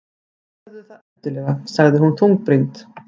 Gerðu það endilega- sagði hún þungbrýnd.